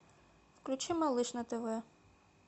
включи малыш на тв